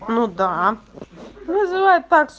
ну да вызывает так